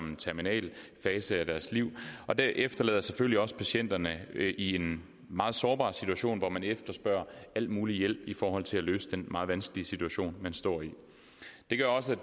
en terminal fase af deres liv og det efterlader selvfølgelig også patienterne i en meget sårbar situation hvor de efterspørger al mulig hjælp i forhold til at løse den meget vanskelige situation står i det gør også at